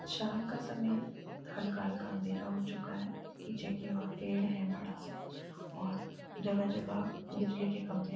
शाम का समय है हल्का-हल्का अंधेरा हो चुका है पीछे की ओर पेड़ है बड़ा सा और जगह-जगह बिजली के खम्बे--